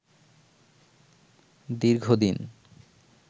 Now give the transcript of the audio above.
দীর্ঘ দিন